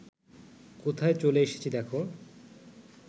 কোথায় চলে এসেছি দ্যাখো